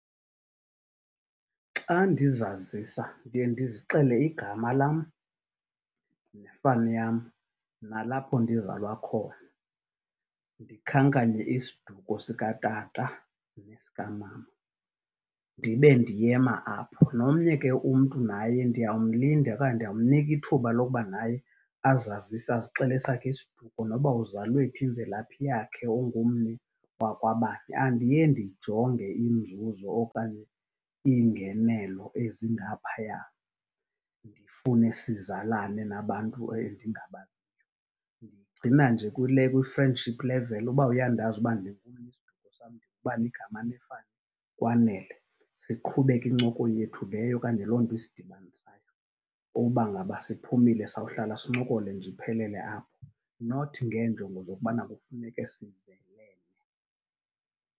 Xa ndizazisa ndiye ndizixele igama lam nefani yam nalapho ndizalwa khona, ndikhankanye isiduko sikatata nesikamama, ndibe ndiyema apho. Nomnye ke umntu naye ndiyawumlinda okanye ndiyawumnika ithuba loba naye azazise, azixele esakhe isiduko noba uzalwe phi, imvelaphi yakhe, ungumni wakwabani. Andiye ndijonge inzuzo okanye iingenelo ezingaphaya, ndifune sizalane nabantu endingabaziyo. Ndiyigcina nje kwi-friendship level. Uba uyandazi uba isiduko sam, ndingubani igama nefani, kwanele, siqhube ke incoko yethu leyo okanye loo nto isidibanisayo. Uba ngaba siphumile, sawuhlala sincokole nje, iphelele apho. Not ngeenjongo zokubana kufuneke sizelene.